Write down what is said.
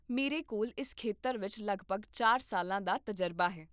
ਮੇਰੇ ਕੋਲ ਇਸ ਖੇਤਰ ਵਿੱਚ ਲਗਭਗ ਚਾਰ ਸਾਲਾਂ ਦਾ ਤਜਰਬਾ ਹੈ